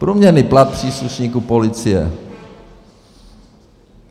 Průměrný plat příslušníků policie.